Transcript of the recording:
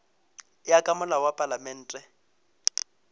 ya ka molao wa palamente